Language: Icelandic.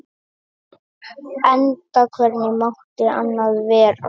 Enda hvernig mátti annað vera?